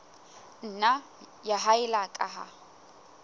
nna ya haella ka ha